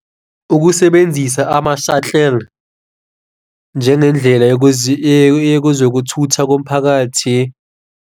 Ukusebenzisa ama-shuttle njengendlela yezokuthutha komphakathi.